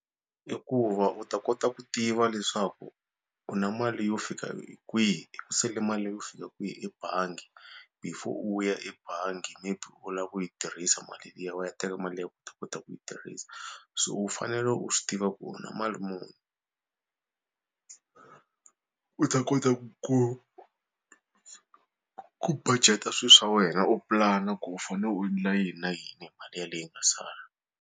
I ku va u ta kota ku tiva leswaku u na mali yo fika kwihi ku sale mali leyo fika kwihi ebangi before u ya ebangi maybe u lava ku yi tirhisa mali liya u ya teka mali liya u ta kota ku yi tirhisa so u fanele u swi tiva ku u na mali muni u ta kota ku ku budget-a swilo swa wena u pulana ku u fanele u endla yini na yini hi mali ya leyi nga sala.